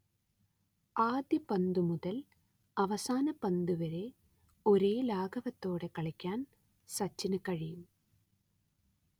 ആദ്യ പന്തുമുതൽ അവസാന പന്തുവരെ ഒരേ ലാഘവത്തോടെ കളിക്കാൻ സച്ചിനു കഴിയും